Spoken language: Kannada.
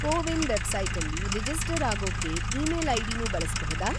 ಕೋವಿನ್‌ ವೆಬ್‌ಸೈಟಲ್ಲಿ ರಿಜಿಸ್ಟರ್‌ ಆಗೋಕ್ಕೆ ಈಮೇಲ್‌ ಐಡಿನೂ ಬಳಸ್ಬಹುದಾ?